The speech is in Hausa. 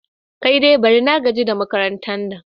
Kai dai bari! na gaji da makarantar.